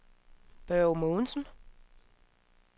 Børge Mogensen